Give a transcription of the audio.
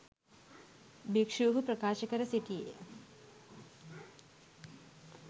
භික්ෂුහු ප්‍රකාශ කර සිටියේ